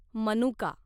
मनुका